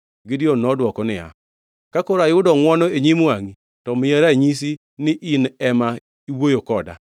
Gideon nodwoko niya, “Ka koro ayudo ngʼwono e nyim wangʼi, to miya ranyisi ni in ema iwuoyo koda.